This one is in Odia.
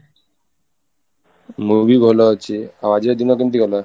ମୁଁ ବି ଭଲ ଅଛି, ଆଉ ଆଜିକା ଦିନ କେମିତି ଗଲା?